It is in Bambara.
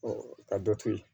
ka dɔ to yen